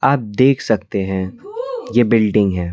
आप देख सकते हैं ये बिल्डिंग है.